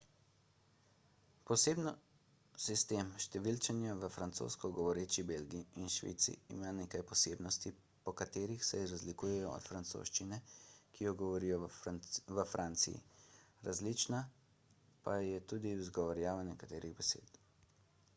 posebno sistem številčenja v francosko govoreči belgiji in švici ima nekaj posebnosti po katerih se razlikuje od francoščine ki jo govorijo v franciji različna pa je tudi izgovorjava nekaterih besed